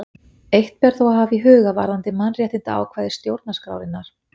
Eitt ber þó að hafa í huga varðandi mannréttindaákvæði stjórnarskrárinnar.